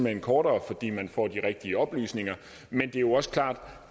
hen kortere fordi man får de rigtige oplysninger men det er jo også klart